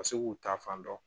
Ka se k'u ta fan dɔn